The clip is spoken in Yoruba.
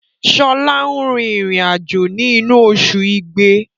Sọlá n rin ìrìn àjò ni inu osù igbe